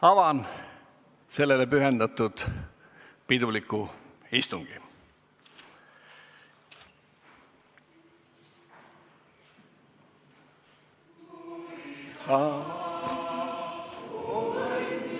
Avan sellele pühendatud piduliku istungi.